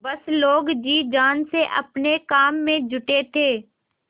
सब लोग जी जान से अपने काम में जुटे थे